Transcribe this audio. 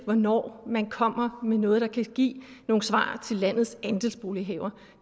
hvornår man kommer med noget der kan give nogle svar til landets andelsbolighavere